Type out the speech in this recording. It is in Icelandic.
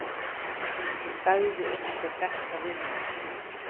Sagði einhver þetta við mig?